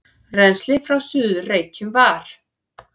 Rennslið frá Suður-Reykjum var